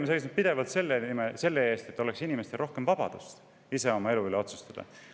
Meie oleme pidevalt seisnud selle eest, et inimestel oleks rohkem vabadust ise oma elu üle otsustada.